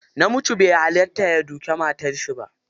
Namiji bai hallata ya duki matarshi ba.